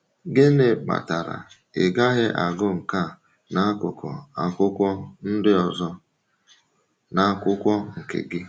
Gịnị kpatara um ị gaghị agụ nke a na akụkụ um akwụkwọ ndị ọzọ n’akwụkwọ nke gị?